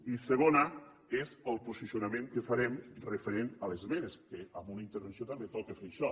i segona és el posicionament que farem referent a les esmenes que en una intervenció també toca fer això